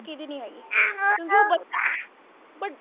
ਕਿਹਦੀ ਨਹੀ ਹੈਗੇ ਕਿਉਂਕਿ ਉਹ but